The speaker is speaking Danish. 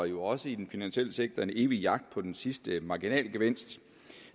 jo også i den finansielle sektor en evig jagt på den sidste marginalgevinst det